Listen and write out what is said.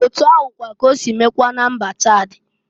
Otu ahụkwa k' osi mekwaa na mba Chad.